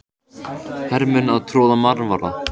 Hermenn að troða marvaða.